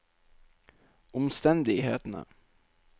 omstendighetene